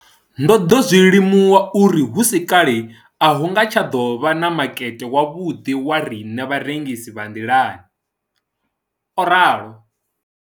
Ndo ḓo zwi limuwa uri hu si kale a hu nga tsha ḓo vha na makete wavhuḓi wa riṋe vharengisi vha nḓilani, o ralo.